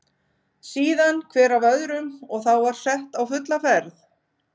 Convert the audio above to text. Síðan hver af öðrum og þá var sett á fulla ferð.